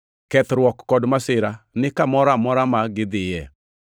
kethruok kod masira ni kamoro amora ma gidhiyoe,